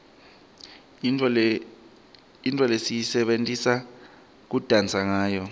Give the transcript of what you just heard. yintfo lesiyisebentisa kudansa ngawo